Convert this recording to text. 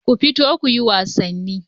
Ku fita kuyi wasanni.